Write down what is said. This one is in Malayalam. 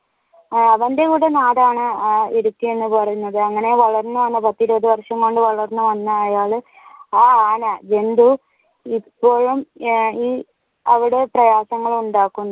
അവന്റെയും കൂടി നാടാണ് ഇടുക്കി എന്ന് പറയുന്നത് അങ്ങനെ വളർന്നു വന്ന പത്തു ഇരുപതു വര്ഷം വളർന്നു വന്ന അയാൾ ആ ആന ജന്തു ഇപ്പോഴും അവിടെ പ്രയാസങ്ങൾ ഉണ്ടാക്കുന്നു